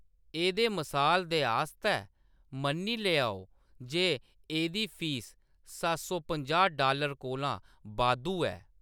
एह्‌दे मसाल दे आस्तै, मन्नी लैओ जे एह्‌‌‌दी फीस सत्त सौ पंजाह् डालर कोला बाद्धू ऐ।